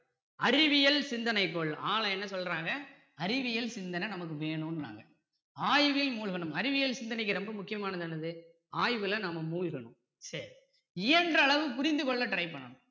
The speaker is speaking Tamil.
அறிவியல் சிந்தனைக்குள் அ ல என்ன சொல்றாங்க அறிவியல் சிந்தனை நமக்கு வேணுங்கிறாங்க ஆய்வில் மூழ்கணும் அறிவியல் சிந்தனைக்கு ரொம்ப முக்கியமானது என்னது ஆய்வில நம்ம மூழ்கணும் சரி இயன்ற அளவு புரிந்து கொள்ள try பண்ணணும்